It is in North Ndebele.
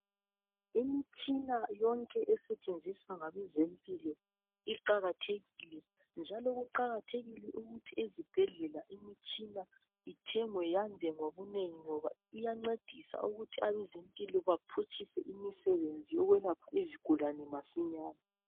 imitshina yonke esetshenziswa ngabezempilo iqakathekile njalo kuqakathekile ukuthi ezibhedlela imitshina ithengwe yande ngobunengi ngoba iyancedisa ukuthi abezempilo baphutshise imisebenzi yokwelapha izigulane masinyane